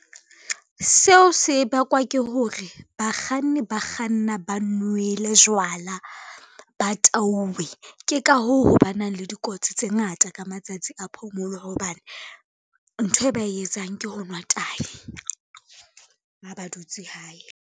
Seo se bakwa ke hore bakganni ba kganna ba nwele jwala, ba tauwe. Ke ka hoo ho ba nang le dikotsi tse ngata ka matsatsi a phomolo hobane, ntho e ba e etsang ke ho nwa tai, ha ba dutse hae.